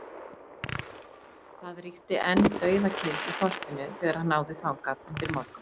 Það ríkti enn dauðakyrrð í þorpinu þegar hann náði þangað undir morgun.